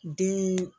Den